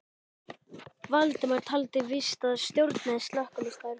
Valdimar taldi víst að sá stjórnaði slökkvistarfinu.